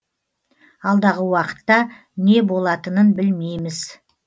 алдағы уақытта не болатынын білмейміз